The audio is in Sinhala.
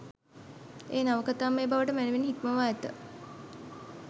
එය නවකතාමය බවට මැනවින් හික්මවා ඇත